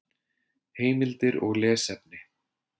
Heimildir og lesefni